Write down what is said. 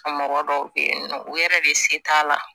Ka mɔgɔ dɔw be yen nɔ u yɛrɛ de se t'a la